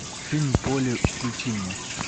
фильм поле включи мне